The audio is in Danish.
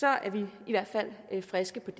er vi i hvert fald friske